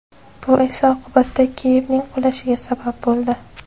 Bu esa oqibatda Kiyevning qulashiga sabab bo‘ldi.